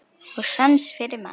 Og sans fyrir mat.